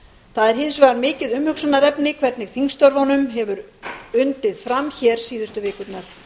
það er hins vegar mikið umhugsunarefni hvernig þingstörfunum hefur undið fram hér síðustu vikurnar